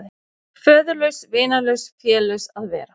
Föðurlaus, vinalaus, félaus að vera.